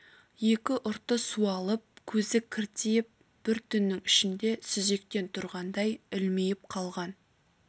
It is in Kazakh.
екі ұрты суалып көзі кіртиіп бір түннің ішінде сүзектен тұрғандай ілмиіп қалған